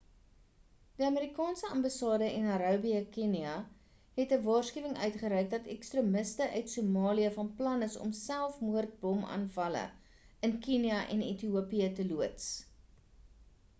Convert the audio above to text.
die amerikaanse ambassade in nairobi kenia het 'n waarskuwing uitgereik dat ekstremiste uit somalië van plan is om selfmoordbomaanvalle in kenia en ethiopië te loods